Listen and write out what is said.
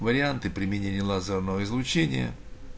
варианты применения лазерного излучения